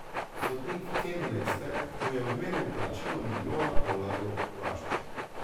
Sodnik Ken Lester mu je odmeril plačilo milijona dolarjev varščine.